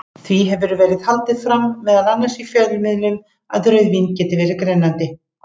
Því hefur verið haldið fram, meðal annars í fjölmiðlum, að rauðvín geti verið grennandi.